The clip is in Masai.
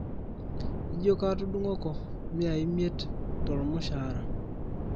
ijio kaatudungoki mia imiet to olmushaara